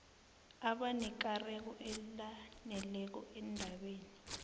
abanekareko elaneleko endabeni